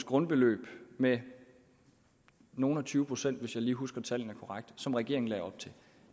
grundbeløb med nogle og tyve procent hvis jeg husker tallet korrekt som regeringen lagde op til